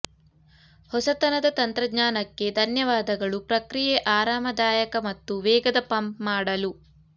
ಹೊಸತನದ ತಂತ್ರಜ್ಞಾನಕ್ಕೆ ಧನ್ಯವಾದಗಳು ಪ್ರಕ್ರಿಯೆ ಆರಾಮದಾಯಕ ಮತ್ತು ವೇಗದ ಪಂಪ್ ಮಾಡಲು